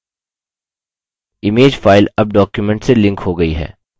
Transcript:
image file अब document से linked हो गयी है